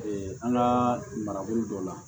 an ka marabolo dɔ la